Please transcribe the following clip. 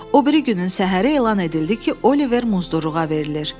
O biri günün səhəri elan edildi ki, Oliver muzdurluğa verilir.